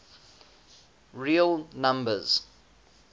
real numbers